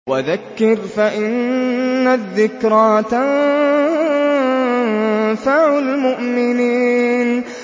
وَذَكِّرْ فَإِنَّ الذِّكْرَىٰ تَنفَعُ الْمُؤْمِنِينَ